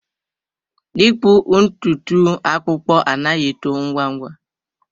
ịkpụ ntutu akpụkpọ anaghị eto ngwa ngwa.